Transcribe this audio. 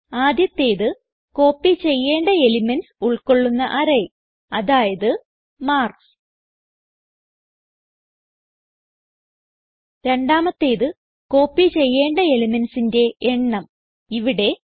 ആദ്യത്തേത് കോപ്പി ചെയ്യേണ്ട എലിമെന്റ്സ് ഉൾകൊള്ളുന്ന അറേ അതായത് മാർക്ക്സ് രണ്ടാമത്തേത് കോപ്പി ചെയ്യേണ്ട elementsന്റെ എണ്ണം ഇവിടെ 5